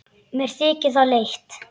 Mér þykir það leitt.